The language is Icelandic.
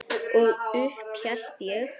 Og upp hélt ég.